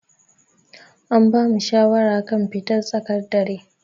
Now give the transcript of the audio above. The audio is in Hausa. An bamu shawara kan fitar tsakar dare.